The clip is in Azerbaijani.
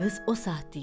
Qız o saat deyir: